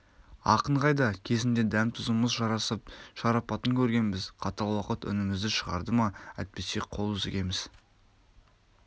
ақын қайда кезінде дәм-тұзымыз жарасып шарапатын көргенбіз қатал уақыт үнімізді шығарды ма әйтпесе қол үзгеміз